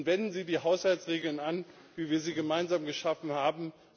Und wenden Sie die Haushaltsregeln an, wie wir sie gemeinsam geschaffen haben!